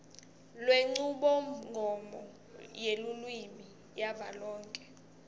lwenchubomgomo yelulwimi yavelonkhe